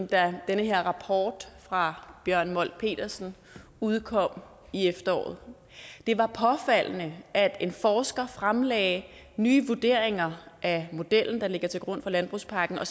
da den her rapport fra bjørn molt petersen udkom i efteråret det var påfaldende at en forsker fremlagde nye vurderinger af modellen der ligger til grund for landbrugspakken og